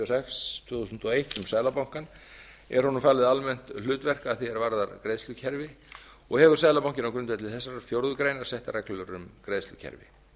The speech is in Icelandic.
sex tvö þúsund og eitt um seðlabankann er honum falið almennt hlutverk að því er varðar greiðslukerfi og hefur seðlabankinn á grundvelli þessarar fjórðu grein sett reglur um greiðslukerfi